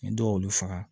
Ni dɔw y'olu faga